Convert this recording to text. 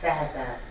Səhər-səhər.